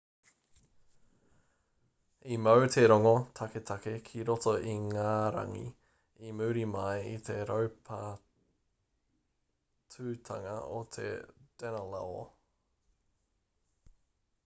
i mau te rongo taketake ki roto ingarangi i muri mai i te raupatutanga o te danelaw